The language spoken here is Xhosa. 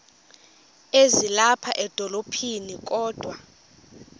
ezilapha edolophini kodwa